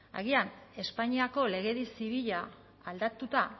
agian espainiako legedi zibila aldatuta